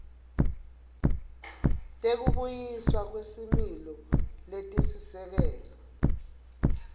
tekubuyiswa kwesimilo letisisekelo